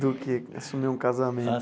Do que assumir um casamento.